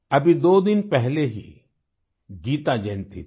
अभी दो दिन पहले ही गीता जयंती थी